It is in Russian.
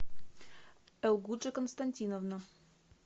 элгуджи константиновна